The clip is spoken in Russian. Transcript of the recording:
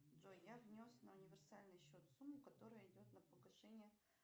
джой я внес на универсальный счет сумму которая идет на погашение